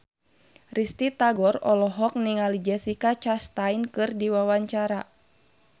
Risty Tagor olohok ningali Jessica Chastain keur diwawancara